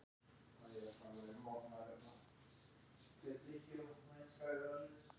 Þeir skvettu hvor á annan, tókust svolítið á, hrintu og stríddu hvor öðrum.